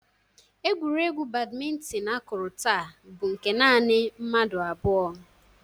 Egwuregwu badmintin akụrụ taa bụ nke nanị mmadụ abụọ.